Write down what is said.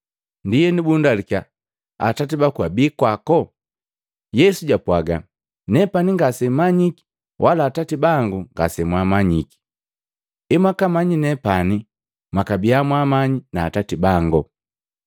Ndienu bundalukiya, “Atati baku abi kwako?” Yesu japwaaga, “Nepani ngasemmanyiki wala Atati bangu ngasemwamanyiki, emwakamanyi nepani, mwakabiya mwaamanyiki na Atati bango.”